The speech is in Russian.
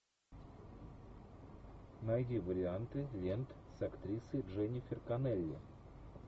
найди варианты лент с актрисой дженнифер коннелли